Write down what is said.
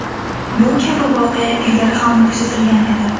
Bu kabi voqea ilgari ham kuzatilgan edi.